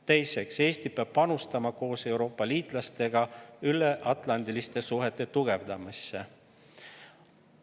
Teiseks, Eesti peab koos Euroopa liitlastega panustama üleatlandiliste suhete tugevdamisse.